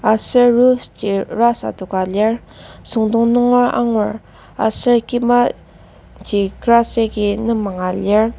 aser roof ji rust adoka lir süngdong nunger angur aser kimaji grass agi nembanga lir.